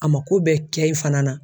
A ma ko bɛ kɛ e fana na